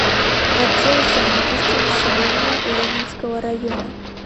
отдел занятости населения ленинского района